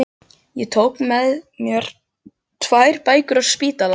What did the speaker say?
Ég tók með mér tvær bækur á spítalann